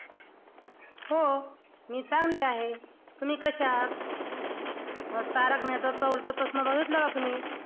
हो मी चांगली आहे. तुम्ही कशा आहात? अं तारक मेहताचा उलट चष्मा बघितला का तुम्ही?